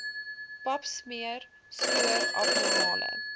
papsmeer spoor abnormale